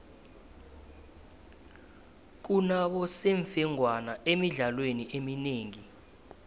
kunabosemfengwana emidlalweni eminengi